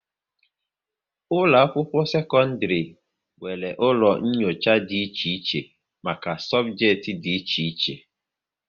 Ụlọ akwụkwọ sekọndrị nwere ụlọ nyocha dị iche iche maka sobjekiti dị iche iche